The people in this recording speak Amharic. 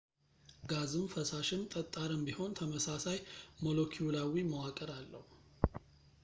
ጋዝም ፈሳሽም ጠጣርም ቢሆን ተመሳሳይ ሞሎኪውላዊ መዋቅር አለው